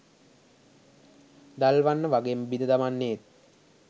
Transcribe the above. දල්වන්න වගේම බිඳ දමන්නේත්